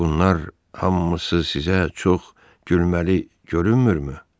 Bunlar hamısı sizə çox gülməli görünmürmü?